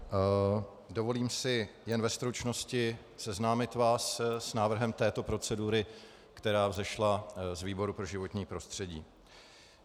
Dovolím si jen ve stručnosti seznámit vás s návrhem této procedury, která vzešla z výboru pro životní prostředí.